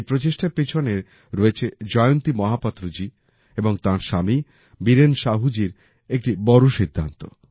এই প্রচেষ্টার পিছনে রয়েছে জয়ন্তী মহাপাত্র জি এবং তাঁর স্বামী বীরেন সাহু জির একটি বড় সিদ্ধান্ত